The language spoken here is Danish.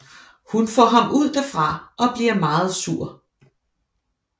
Hun får ham ud derfra og bliver meget sur